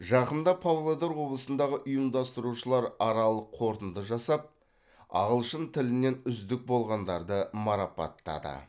жақында павлодар облысындағы ұйымдастырушылар аралық қорытынды жасап ағылшын тілінен үздік болғандарды марапаттады